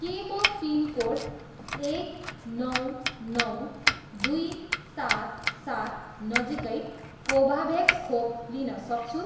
के म पिनकोड एक नौ नौ दुई सात सात नजिकै कोभाभ्याक्स खोप लिन सक्छु